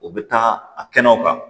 O bɛ taa a kɛnɛw kan